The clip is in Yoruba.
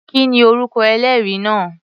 Kí ni orúkọ ẹlẹ́rìí náà?